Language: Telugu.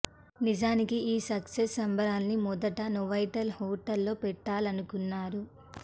నిజానికి ఈ సక్సెస్ సంబరాల్ని మొదట నోవాటెల్ హోటల్ లో పెట్టాలనుకున్నారు